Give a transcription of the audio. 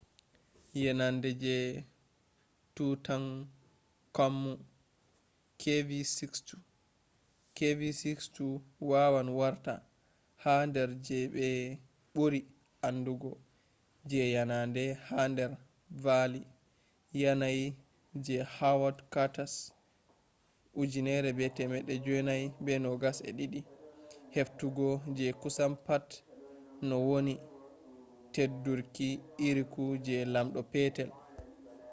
yenande je tutankhanmu kv62. kv62 wawan warta ha dar je be buri andugo je yanande ha dar valley yanayi je howard carter’s 1922 heftugo je kusan pat nowoni teddurki irruki je lamdo petel